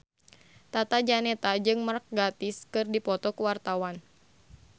Tata Janeta jeung Mark Gatiss keur dipoto ku wartawan